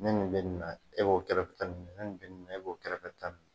Ni nin bɛ na e b'o kɛrɛfɛ ta ni nin bɛ na e b'o kɛrɛfɛ ta